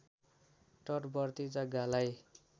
तटवर्ती जग्गालाई